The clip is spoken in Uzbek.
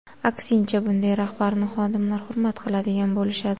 Aksincha bunday rahbarni xodimlar hurmat qiladigan bo‘lishadi.